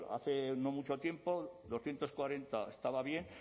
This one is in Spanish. hace no mucho tiempo doscientos cuarenta estaba bien